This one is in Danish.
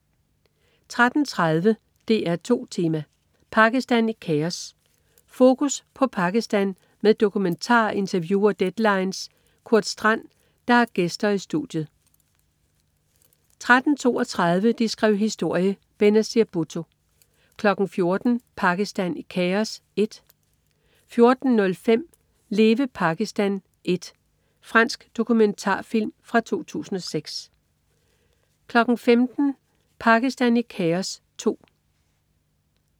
13.30 DR2 Tema: Pakistan i kaos. Fokus på Pakistan med dokumentar, interview og "Deadlines" Kurt Strand, der har gæster i studiet 13.32 De skrev historie: Benazir Bhutto 14.00 Pakistan i kaos 1 14.05 Leve Pakistan 1. Fransk dokumentarfilm fra 2006 15.00 Pakistan i kaos 2